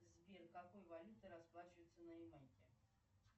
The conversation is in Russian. сбер какой валютой расплачиваются на ямайке